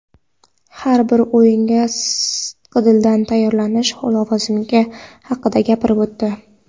har bir o‘yinga sidqidildan tayyorlanish lozimligi haqida gapirib o‘tdi.